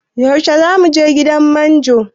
Yaushe zamu je gidan manjo?